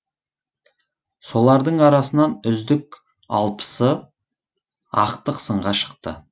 солардың арасынан үздік алпысы ақтық сынға шықты